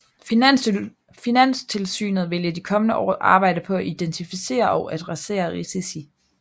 Finanstilsynet vil i de kommende år arbejde på at identificere og adressere risici